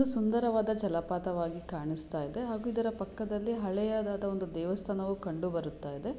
ಒಂದು ಸುಂದರವಾದ ಜಲಪಾತವಾಗಿ ಕಾಣಿಸ್ತಾ ಇದೆ ಹಾಗೂ ಇದರ ಪಕ್ಕದಲ್ಲಿ ಹಳೆಯದಾದ ಒಂದು ದೇವಸ್ಥಾನವು ಕಂಡು ಬರುತ್ತಾ ಇದೆ.